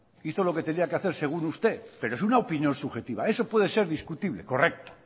hizo lo que tenía que hacer según usted pero es una opinión subjetiva eso puede ser discutible correcto